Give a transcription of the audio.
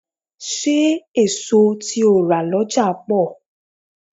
Ṣé èso tí o rà lọ́jà pọ̀?